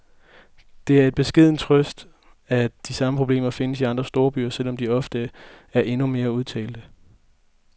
Det er en beskeden trøst, at de samme problemer findes i andre storbyer, selvom de ofte der er endnu mere udtalte.